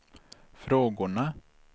frågorna